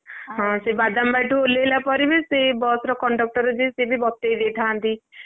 ହଁ ସେ ବାଦାମବାଡିଠୁ ଓହ୍ଲେଇଲାପରେ ବି ସେ ବସ ର conductor ଯିଏ ସିଏ ବି ବତେଇ ଦେଇଥାନ୍ତି,